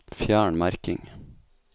Fjern merking